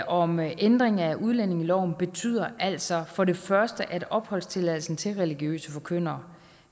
om ændring af udlændingeloven betyder altså for det første at opholdstilladelsen til religiøse forkyndere